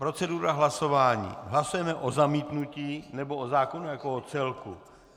Procedura hlasování: hlasujeme o zamítnutí, nebo o zákonu jako o celku.